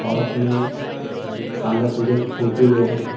और अपने शानदार तरीके से फोटो ले रहे हैं।